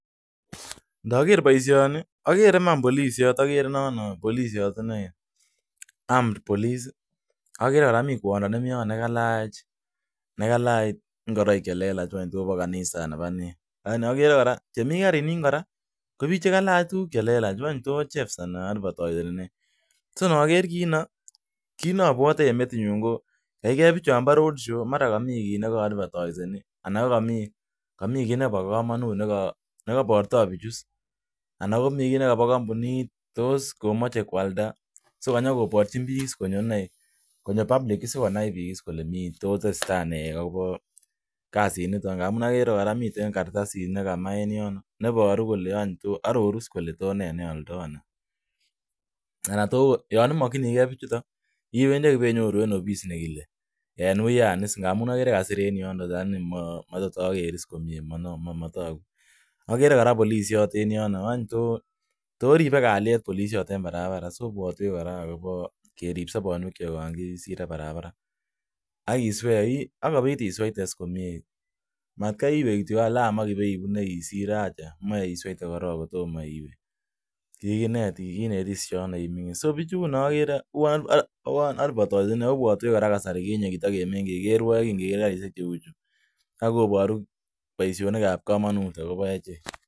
Ndoker boishoni agere iman bolishot agere nono bolishot inee army police agere kora mi kwondo ne mi yon nekalach ingoroik che bo kanisa ana bo nee agere chemi karini kora ko chekalch ingoroik che lelach ngwany tos chefs ana nee so ndoker kii noo obwote en metinyun ko yeiker bijon bo road show komara komi kit nekoavatoiseni ana ko mara komi kii nebo komonut nekoborto bichuu anan komara mi kit nebo kombunit tos komoje kwalda so akonyon koborji bik sikonyor inee public sikonai bik kole tos tesetai nee agopo kasiniton amun agere kora miten kartasit nekama en nyon neboru kole tos nee neoldo. Ara tos yo imokinigee bijuto iwendi ak iwenyoru en ofis nekile en wuyan iss amun agere kasir en yonon lakini matos ager komie motoku. Agere kora polishot en yono tos ribe kalyet polishot en barabara ibwotwen kora agopo kerib sobonwekyok yon kisire barabara iswe akobit isweite komie matkai iwee kityok lam isirote moe isweten korony kotomoi iwe kikinetis jono so bijuno agere uwon avataiseni ako ibwotwech kora kasarakinye che kikimengejen kerwoe kingeger karishek che uchuu koboru boishonik chechang akobo echek.